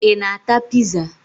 Ị na-ata piza?